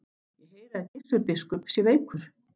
Ég heyri að Gizur biskup sé veikur.